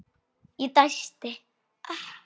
Ég dæsti.